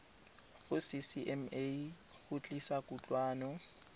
go ccma go tlisa kutlwano